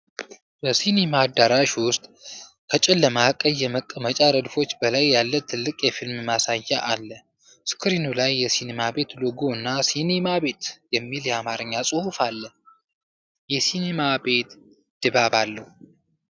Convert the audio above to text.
]በሲኒማ አዳራሽ ውስጥ ከጨለማ ቀይ የመቀመጫ ረድፎች በላይ ያለ ትልቅ የፊልም ማሳያ አለ። ስክሪኑ ላይ የሲኒማ ቤት ሎጎ እና "ሲኒማ ቤት" የሚል የአማርኛ ጽሑፍ አለ። የሲኒማ ቤት ድባብ አለው።